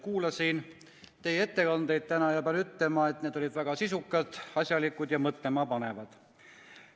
Kuulasin täna teie ettekandeid ja pean ütlema, et need olid väga sisukad, asjalikud ja mõtlema panevad.